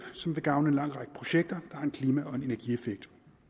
som vil gavne en lang række projekter har en klima og en energieffekt